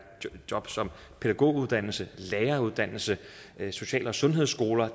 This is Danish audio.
pædagoguddannelse læreruddannelse social og sundhedsskoler